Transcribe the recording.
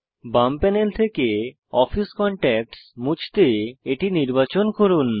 বাম প্যানেল থেকে office contacts মুছতে এটি নির্বাচন করুন